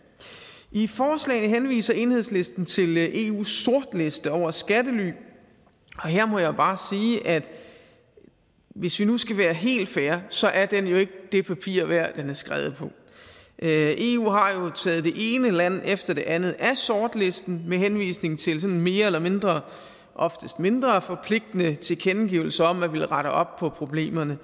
i forslaget henviser enhedslisten til eus sortliste over skattely og her må jeg bare sige at hvis vi nu skal være helt fair så er den jo ikke det papir værd den er skrevet på eu har jo taget det ene land efter det andet af sortlisten med henvisning til sådan mere eller mindre oftest mindre forpligtende tilkendegivelser om at man ville rette op på problemerne